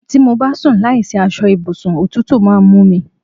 Tí mo bá sùn láìsí aṣọ ibùsùn òtútù máa ń mú mí